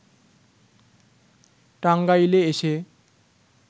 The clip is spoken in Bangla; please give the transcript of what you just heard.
টাঙ্গাইলে এসে